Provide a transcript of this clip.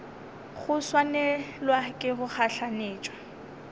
go swanelwa ke go gahlanetšwa